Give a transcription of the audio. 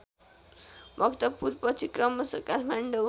भक्तपुरपछि क्रमश काठमाडौँ